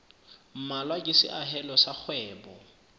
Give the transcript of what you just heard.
mmalwa ke seahelo sa kgwebo